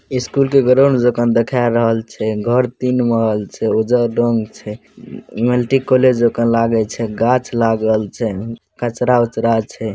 स्कूल के ग्राउंड देख ना देखाई रहल छै | घर तीन महल छै ओजा डॉम छै मल्टी कॉलेज आखन लागे छै गाछ लागल छै कचरा उचरा छै |